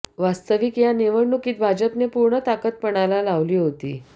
वास्तविक या निवडणुकीत भाजपने पूर्ण ताकत पणाला लावली होती